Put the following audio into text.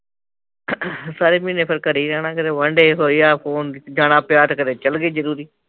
ਸਾਰੇ ਮਹੀਨੇ ਫਿਰ ਘਰੇ ਹੀ ਰਹਿਣਾ ਕਿਤੇ ਵਨਡੇ ਹੋਇਆ ਫੋਨ ਜਾਣਾ ਪਿਆ ਤਾਂ ਕਦੇ ਚਲੇ ਗਏ ਜਰੂਰੀ